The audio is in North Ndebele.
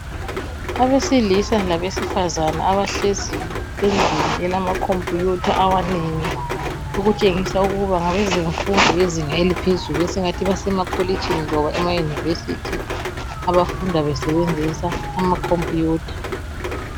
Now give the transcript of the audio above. Abesilisa labesifazana abahlezi endlini elama Computer amanengi, okutshengisa ukuba ngabezemfundo abezinga eliphezulu esingathi basemakolitshini loba ema University, abafunda besebenzisa amaComputer.